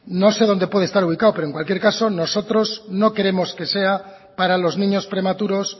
no sé dónde puede estar ubicado pero en cualquier caso nosotros no queremos que sea para los niños prematuros